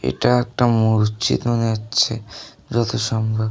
এটা একটা মসজিদ মনে হচ্ছে যত সম্বভ।